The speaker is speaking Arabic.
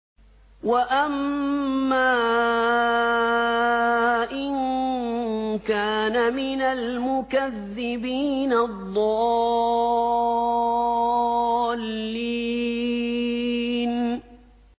وَأَمَّا إِن كَانَ مِنَ الْمُكَذِّبِينَ الضَّالِّينَ